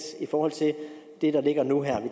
i forhold til det der ligger nu her og